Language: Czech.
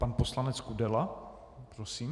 Pan poslanec Kudela prosím.